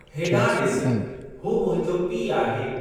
होॾांहुं ॾिसु, हू मुंहिंजो पीउ आहे।